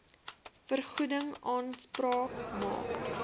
vergoeding aanspraak maak